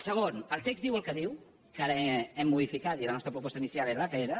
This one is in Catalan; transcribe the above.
segon el text diu el que diu que ara ho hem modificat i la nostra proposta inicial era la que era